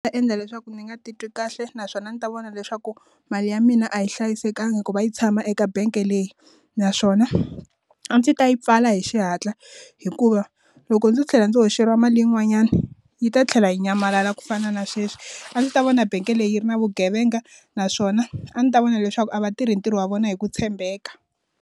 Ta endla leswaku ndzi nga titwi kahle naswona ni ta vona leswaku mali ya mina a yi hlayisekanga ku va yi tshama eka bank leyi naswona a ndzi ta yi pfala hi xihatla hikuva loko ndzi tlhela ndzi hoxeliwa mali yin'wanyani yi ta tlhela yi nyamalala ku fana na sweswi a ndzi ta vona bank leyi yi ri na vugevenga naswona a ndzi ta vona leswaku a va tirhi ntirho wa vona hi ku tshembeka.